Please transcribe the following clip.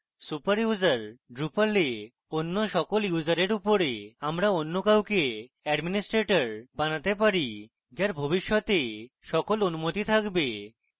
super user drupal we অন্য সকল ইউসারের উপরে আমরা অন্য কাউকে administrators বানাতে পারি যার ভবিষ্যতে সকল অনুমতি থাকবে